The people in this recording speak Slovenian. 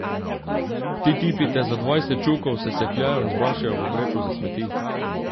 Ti tipi te za dvajset čukov sesekljajo in zbašejo v vrečo za smeti.